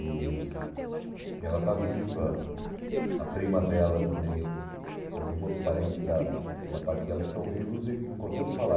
E e ela está viva, a prima dela também, tem alguns outros parentes da da parte dela que estão vivos e em condição de falar.